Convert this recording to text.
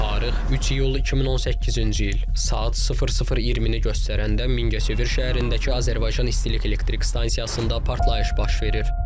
Tarix 3 iyul 2018-ci il, saat 00:20-ni göstərəndə Mingəçevir şəhərindəki Azərbaycan İstilik Elektrik Stansiyasında partlayış baş verir.